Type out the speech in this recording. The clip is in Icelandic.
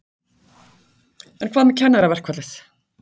En hvað með kennaraverkfallið?